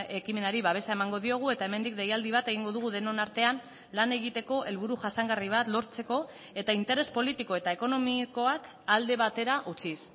ekimenari babesa emango diogu eta hemendik deialdi bat egingo dugu denon artean lan egiteko helburu jasangarri bat lortzeko eta interes politiko eta ekonomikoak alde batera utziz